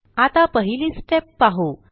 आता पहिली स्टेप पाहू